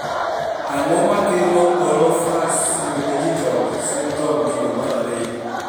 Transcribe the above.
Ang'o makelo Orofaciodigital syndrome kido mar ariyo